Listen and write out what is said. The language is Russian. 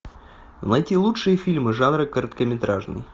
найти лучшие фильмы жанра короткометражный